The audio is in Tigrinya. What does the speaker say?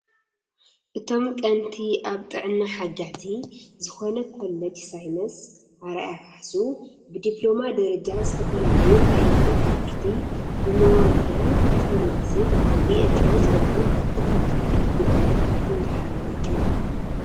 እቶም ቀንቲ ኣብ ጥዕና ሓጋዚ ዝኮነ ኮሌጅሳይነስ ኣርኣያ ካሕሱ ብዲፕሎማ ደረጃ ዝተፈላለዩ ዓይነታት ትምህርቲ ብመዋልዳን፣ ብፋርማሲ፣ ብኤችኦ ዝበሉ ክፍሊ ትምህርትታት ግልጋሎት እንዳሃበ እዩ።።